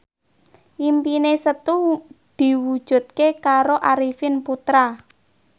impine Setu diwujudke karo Arifin Putra